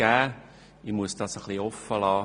Ich muss das offenlassen.